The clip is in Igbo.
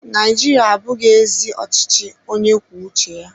Naijiria ahụbeghị ezi ọchịchị onye kwuo uche ya.